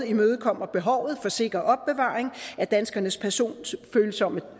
imødekommer behovet for sikker opbevaring af danskernes personfølsomme